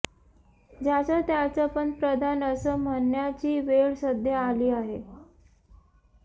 ज्याचा त्याचा पंतप्रधान असं म्हणण्याची वेळ सध्या आली आहे